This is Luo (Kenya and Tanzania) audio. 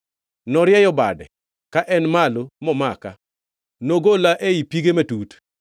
“Norieyo bade ka en malo momaka, nogola ei pige matut.